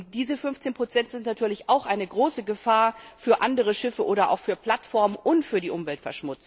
Und diese 15 sind natürlich auch eine große Gefahr für andere Schiffe oder auch für Plattformen und für die Umwelt.